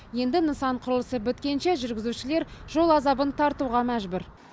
енді нысан құрылысы біткенше жүргізушілер жол азабын тартуға мәжбүр